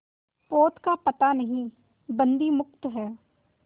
पोत का पता नहीं बंदी मुक्त हैं